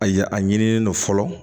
A ya a ɲinilen don fɔlɔ